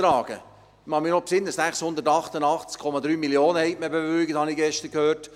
Ich erinnere mich noch, dass ich gestern gehört habe, man habe 688,3 Mio. Franken bewilligt.